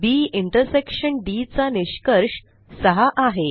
बी intersection D चा निष्कर्ष 6 आहे